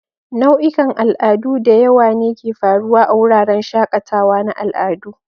Nau'ikan al'adu diyawa ne ke faruwa a wuraren shakatawa na al'adu